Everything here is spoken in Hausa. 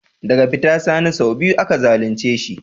Daga fita Sani sau biyu aka zalunce shi.